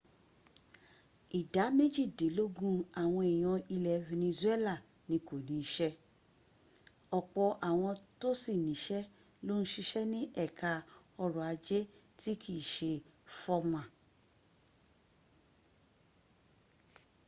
ìdá méjìdílógún àwọn èèyàn ilẹ̀ venezuela ni kò ní iṣẹ́ ọ̀pọ̀ àwọn tó sì níṣẹ́ ló ń siṣẹ́ ní ẹka ọrọ̀ ajé tí kìí se fọ́mà